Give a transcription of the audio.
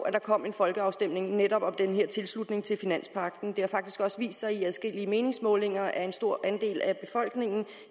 at der kommer en folkeafstemning netop om den her tilslutning til finanspagten det har faktisk også vist sig i adskillige meningsmålinger at en stor andel af befolkningen